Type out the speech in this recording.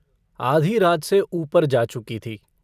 आधी रात से ऊपर जा चुकी थी।